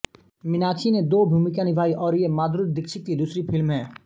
मीनाक्षी ने दो भूमिका निभाई और ये माधुरी दीक्षित की दूसरी फिल्म है